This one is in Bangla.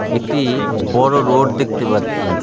একটি বড়ো রোড দেখতে পাচ্ছি।